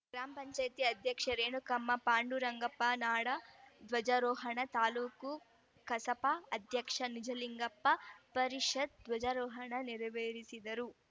ಗ್ರಾಪಂ ಅಧ್ಯಕ್ಷ ರೇಣುಕಮ್ಮ ಪಾಂಡುರಂಗಪ್ಪ ನಾಡ ಧ್ವಜಾರೋಹಣ ತಾಲ್ಲೂಕು ಕಸಾಪ ಅಧ್ಯಕ್ಷ ನಿಜಲಿಂಗಪ್ಪ ಪರಿಷತ್‌ ಧ್ವಜಾರೋಹಣ ನೆರವೇರಿಸಿದರು